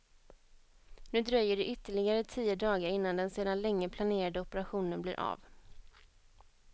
Nu dröjer det ytterligare tio dagar innan den sedan länge planerade operationen blir av.